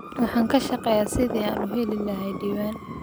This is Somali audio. Waxaan ka shaqeynayaa sidii aan u heli lahaa diiwaan.